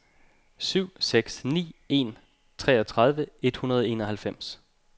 syv seks ni en treogtredive et hundrede og enoghalvfems